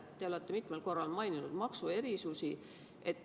Te olete mitmel korral maininud maksuerisusi.